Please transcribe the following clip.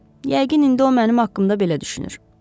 yəqin indi o mənim haqqımda belə düşünür.